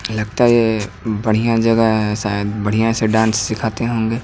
लगता है ये बढ़िया जगह है शायद बढ़िया से डांस सिखाते होंगे।